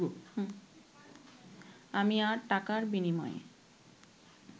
আমি আর টাকার বিনিময়ে